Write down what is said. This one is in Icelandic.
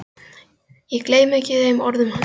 Ég gleymi ekki þeim orðum hans.